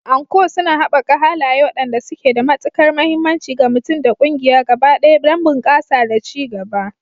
Anko suna haɓaka halaye waɗanda suke da matukar mahimmanci ga mutum da ƙungiya gaba ɗaya don bunƙasa da ci gaba.